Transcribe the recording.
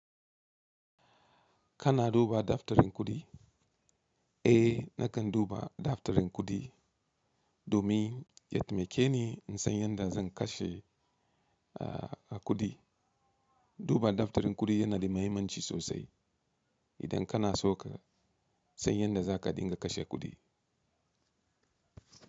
Kana duba daftarin kuɗi? Eh nakan duba daftarin kuɗi domin ya taimake ni in san yadda zan kashe a, a kuɗi. Duba daftarin kuɗi yana da muhimmanci sosai idan kana so ka san yadda za ka dinga kashe kuɗi.